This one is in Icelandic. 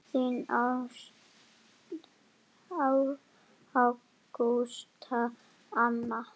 Þín Ágústa Anna.